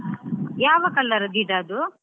ಯಾವ colour ಗಿಡ ಅದು?